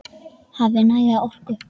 Hafi næga orku.